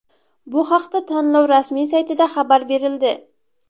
Bu haqda tanlov rasmiy saytida xabar berildi .